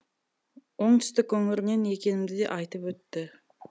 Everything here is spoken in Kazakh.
оңтүстік өңірінен екенімді де айтып өтті